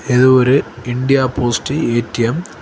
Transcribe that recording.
இது ஒரு India post ATM .